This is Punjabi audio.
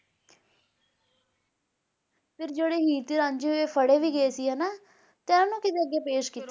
ਫੇਰ ਜਿਹੜੇ ਹੀਰ ਤੇ ਰਾਂਝੇ ਹੋਏ ਫੜੇ ਵੀ ਗਏ ਸੀ ਨਾ ਤੇ ਇਹਨੂੰ ਕਿਹੜੇ ਅੱਗੇ ਪੇਸ਼ ਕੀਤਾ ਗਿਆ ਸੀ